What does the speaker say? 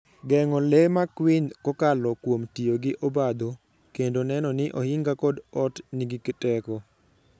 Geng'o le makwiny kokalo kuom tiyo gi obadho, kendo neno ni ohinga kod ot nigi teko.